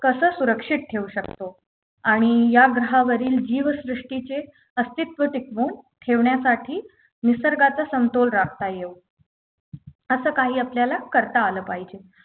कसं सुरक्षित ठेवू शकतो आणि या ग्रहावरील जीवसृष्टीचे अस्तित्व टिकवून ठेवण्यासाठी निसर्गाचा समतोल राखता येउ असं काही आपल्याला करता आलं पाहिजे